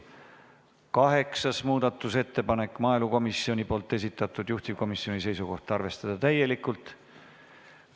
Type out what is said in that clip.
Kaheksas muudatusettepanek, maaelukomisjoni esitatud, juhtivkomisjoni seisukoht: arvestada täielikult.